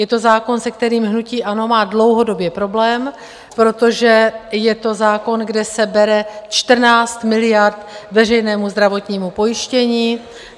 Je to zákon, se kterým hnutí ANO má dlouhodobě problém, protože je to zákon, kde se bere 14 miliard veřejnému zdravotnímu pojištění.